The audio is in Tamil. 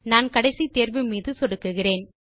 நான் கடைசி தேர்வு மீது சொடுக்குகிறேன்